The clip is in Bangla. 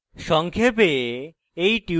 সংক্ষেপে